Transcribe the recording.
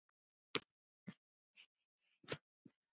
Og það var bannað.